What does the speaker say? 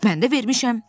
Mən də vermişəm.